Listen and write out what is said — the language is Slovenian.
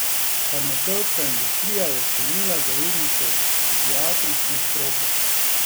Farmacevtska industrija je sklenila zavezništvo s psihiatrično stroko.